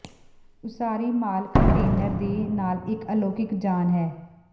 ਉਸਾਰੀ ਮਾਲ ਕੰਟੇਨਰ ਦੇ ਨਾਲ ਇੱਕ ਅਲੋਕਿਕ ਯਾਨ ਹੈ